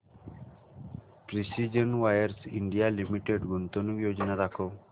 precision wires India limited गुंतवणूक योजना दाखव